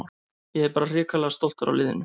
Ég er bara hrikalega stoltur af liðinu.